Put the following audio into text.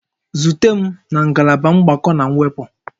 Zute m na ngalaba mgbakọ na mwepụ